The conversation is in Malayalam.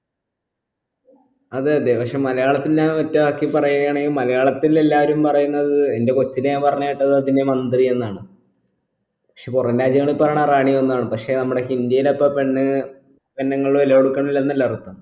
അതെ അതെ പക്ഷെ മലയാളത്തിൽ ഞാൻ ഒറ്റവാക്കിൽ പറയാണെങ്കിൽ മലയാളത്തിൽ എല്ലാരും പറയുന്നത് എന്റെ കോച്ചിലെ ഞാൻ പറഞ്ഞ് കേട്ടത് അതിനെ മന്ത്രി എന്നാണ് പക്ഷെ പുറം രാജ്യങ്ങൾപ്പാണ് റാണിയെന്നാണ് പക്ഷെ നമ്മളെ ഇന്ത്യയിലപ്പോ പെണ്ണ് പെണ്ണുങ്ങളെ വില കൊടുക്കുന്നില്ല എന്നല്ല അർഥം